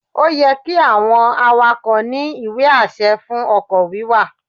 Ó yẹ́ kí àwọn awakọ̀ ní ìwé-àṣẹ fún ọkọ̀ wíwà